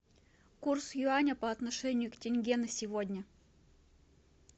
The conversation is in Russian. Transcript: курс юаня по отношению к тенге на сегодня